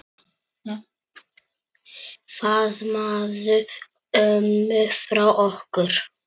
Faðmaðu ömmu frá okkur.